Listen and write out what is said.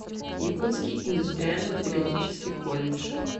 якутский индустриально педагогический колледж